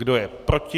Kdo je proti?